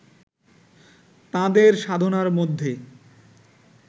তাঁদের সাধনার মধ্যে